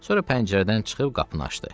Sonra pəncərədən çıxıb qapını açdı.